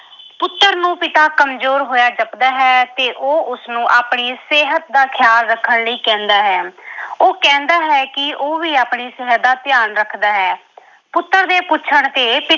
ਪੁੱਤਰ ਨੂੰ ਪਿਤਾ ਕਮਜ਼ੋਰ ਹੋਇਆ ਜਪਦਾ ਹੈ ਤੇ ਉਹ ਉਸਨੂੰ ਆਪਣੀ ਸਿਹਤ ਦਾ ਖਿਆਲ ਰੱਖਣ ਲਈ ਕਹਿੰਦਾ ਹੈ ਉਹ ਕਹਿੰਦਾ ਹੈ ਕਿ ਉਹ ਵੀ ਆਪਣੀ ਸਿਹਤ ਦਾ ਧਿਆਨ ਰੱਖਦਾ ਹੈ। ਪੁੱਤਰ ਦੇ ਪੁੱਛਣ ਤੇ।